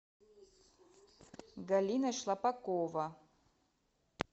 галина шлапакова